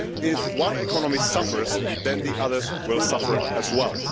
If one economy suffers, the others will suffer as well.